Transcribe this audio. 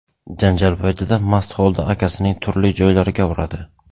janjal paytida mast holda akasining turli joylariga uradi.